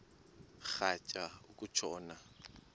rhatya uku tshona